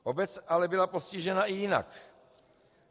Obec byla ale postižena i jinak.